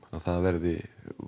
að það verði